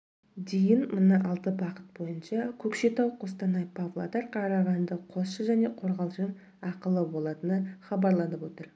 дейінмына алты бағыт бойынша көкшетау қостанай павлодар қарағанды қосшы және қорғалжын ақылы болатыны хабарланып отыр